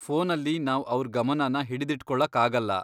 ಫೋನಲ್ಲಿ ನಾವ್ ಅವ್ರ್ ಗಮನನ ಹಿಡಿದಿಟ್ಕೊಳಕ್ಕಾಗಲ್ಲ.